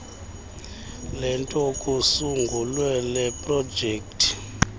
lento kusungulwe leprojekthi